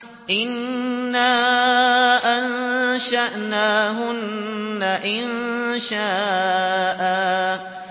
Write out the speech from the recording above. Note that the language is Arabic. إِنَّا أَنشَأْنَاهُنَّ إِنشَاءً